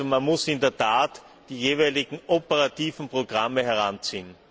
Man muss also in der Tat die jeweiligen operativen Programme heranziehen.